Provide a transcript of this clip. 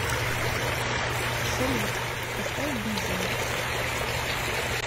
салют поставь бизин